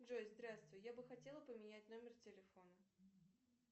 джой здравствуй я бы хотела поменять номер телефона